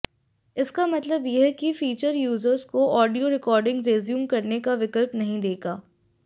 इसका मतलब यह फीचर यूजर्स को ऑडियो रिकॉर्डिंग रेज्यूम करने का विकल्प नहीं देगा